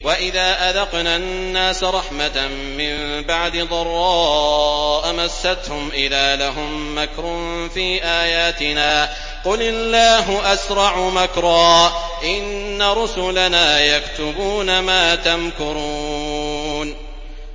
وَإِذَا أَذَقْنَا النَّاسَ رَحْمَةً مِّن بَعْدِ ضَرَّاءَ مَسَّتْهُمْ إِذَا لَهُم مَّكْرٌ فِي آيَاتِنَا ۚ قُلِ اللَّهُ أَسْرَعُ مَكْرًا ۚ إِنَّ رُسُلَنَا يَكْتُبُونَ مَا تَمْكُرُونَ